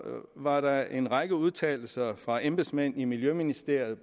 var der en række udtalelser fra embedsmænd i miljøministeriet